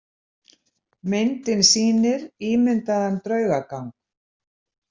Myndin sýnir ímyndaðan draugagang.